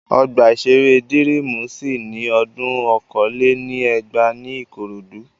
Ọgbà-ìṣeré Dírímù ṣí ní odún okòó lé ní ẹgbàá ní Ìkòròdú